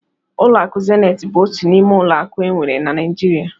Ụlọ akụ Zenit bụ otu n'ime ụlọ akụ enwere na Naijiria.